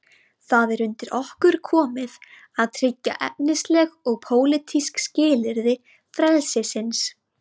Það er undir okkur komið að tryggja efnisleg og pólitísk skilyrði frelsisins.